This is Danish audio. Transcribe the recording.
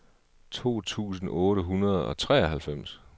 to tusind otte hundrede og treoghalvfems